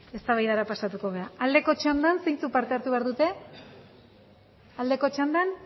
eztabaidara pasatuko da aldeko txandan zeintzuk parte hartu behar dute aldeko txandan